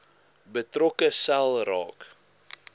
betrokke sel raak